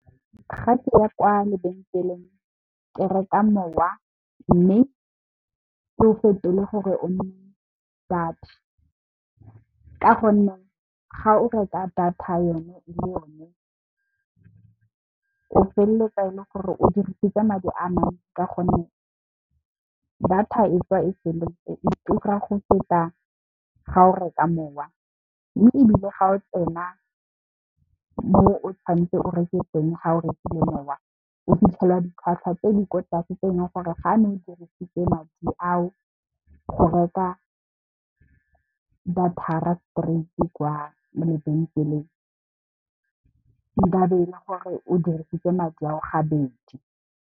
Ga ke ya kwa lebenkeleng ke reka mowa mme, ke o fetole gore o nne data ka gonne, ga o reka data yone e le yone o feleletsa e le gore o dirisitse madi a mantsi ka gonne, data e tswa e feletse e tura go feta ga o reka mowa. Mme, ebile ga o tsena mo o tshwanetseng o e reke teng ga o rekile mowa o fitlhela ditlhwatlhwa tse di kwa tlase tse eleng gore ga ne o dirisitse madi ao go reka data straight kwa lebenkeleng nkabe e le gore o dirisitse madi ao gabedi.